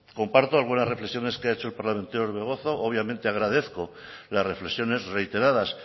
comparto algunas reflexiones que ha hecho el parlamentario orbegozo obviamente agradezco las reflexiones reiteradas